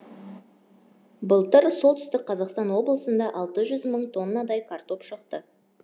былтыр солтүстік қазақстан облысында алты жүз мың тоннадай картоп шықты